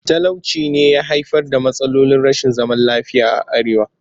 Talauci ne ya haifar da matsalolin rashin zaman lafiya a arewa